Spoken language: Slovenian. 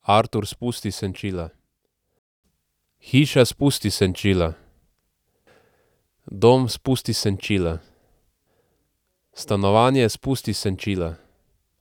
Artur, spusti senčila. Hiša, spusti senčila. Dom, spusti senčila. Stanovanje, spusti senčila.